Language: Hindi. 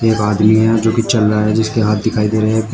एक आदमी है जो कि चल रहा है जिसके हाथ दिखाई दे रहे हैं।